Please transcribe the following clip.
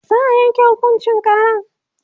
za'a Yanke hukuncin karan